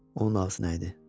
Onun ağzı nə idi?